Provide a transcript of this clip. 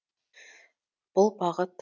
бұл бағыт